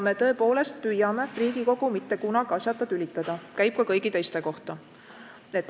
Me tõepoolest püüame Riigikogu mitte kunagi asjata tülitada ja see käib ka kõigi teiste kohta.